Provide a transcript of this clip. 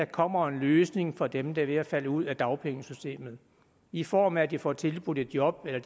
kommer en løsning for dem der er ved at falde ud af dagpengesystemet i form af at de får tilbudt et job eller